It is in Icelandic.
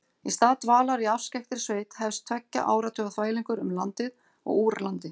Í stað dvalar í afskekktri sveit hefst tveggja áratuga þvælingur um landið og úr landi.